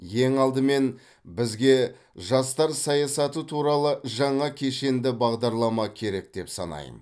ең алдымен бізге жастар саясаты туралы жаңа кешенді бағдарлама керек деп санаймын